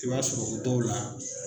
I b'a sɔrɔ o dɔw la